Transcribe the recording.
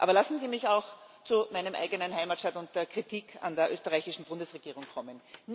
Aber lassen Sie mich auch zu meinem eigenen Heimatstaat und der Kritik an der österreichischen Bundesregierung kommen.